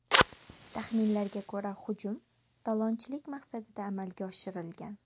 Taxminlarga ko‘ra, hujum talonchilik maqsadida amalga oshirilgan.